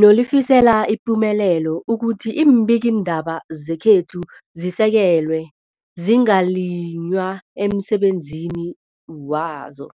nolifisela ipumelelo ukuthi iimbikiindaba zekhethu zisekelwe, zingaliywa emsebenzini wazo.